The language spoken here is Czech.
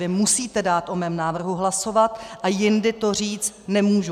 Vy musíte dát o mém návrhu hlasovat a jindy to říct nemůžu.